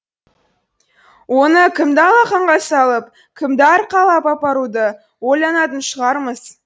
оны кімді алақанға салып кімді арқалап апаруды ойланатын шығармыз